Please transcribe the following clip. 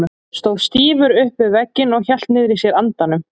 Stóð stífur upp við vegginn og hélt niðri í sér andanum.